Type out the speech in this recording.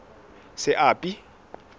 seapi